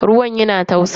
Ruwan yana tausa.